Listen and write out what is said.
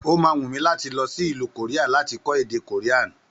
Ó ma wù mí láti lọsí ìlú Kòríà láti kó èdè kòríànì